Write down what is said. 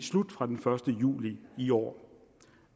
slut fra den første juli i år